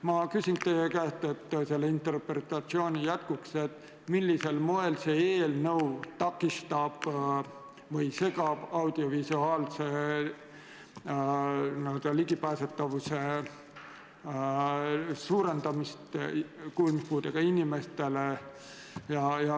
Ma küsin teie käest selle interpretatsiooni jätkuks, millisel moel see eelnõu takistab või segab audiovisuaalse n-ö ligipääsetavuse suurendamist kuulmispuudega inimeste seas.